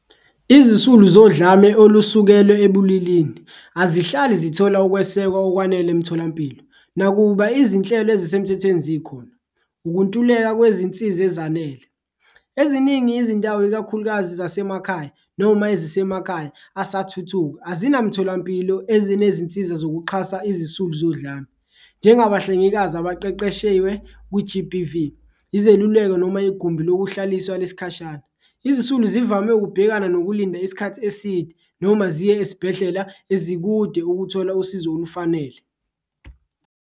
Izisulu zodlame olusekelwe ebulilini azihlali zithola ukwesekwa okwanele emtholampilo nakuba izinhlelo ezisemthethweni zikhona, ukuntuleka kwezinsiza ezanele. Eziningi izindawo ikakhulukazi zasemakhaya noma ezisemakhaya asathuthuka azinamtholampilo ezinezinsiza zokuxhasa izisulu zodlame njengabahlengikazi abaqeqeshiwe kwi-G_B_V, izeluleko noma igumbi lokuhlaliswa lesikhashana. Izisulu zivame ukubhekana nokulinda isikhathi eside, noma ziye esibhedlela ezikude ukuthola usizo olufanele.